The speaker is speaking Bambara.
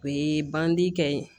O ye bandi kɛ ye